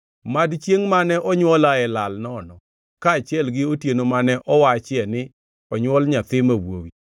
“Mad chiengʼ mane onywolaeni lal nono, kaachiel gi otieno mane owachie ni, ‘Onywol nyathi ma wuowi!’